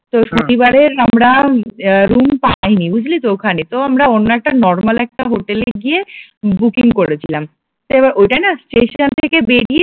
তো শনিবারে আমরা আহ রুম পাইনি বুঝলি তো ওখানে তো আমরা অন্য একটা নরমাল একটা হোটেলে গিয়ে বুকিং করেছিলাম, তো এবার ওটা না স্টেশন থেকে বেরিয়ে